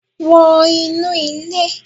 Wọ inu ile